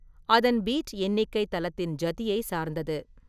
அதன் பீட் எண்ணிக்கை தலத்தின் ஜதியைச் சார்ந்தது.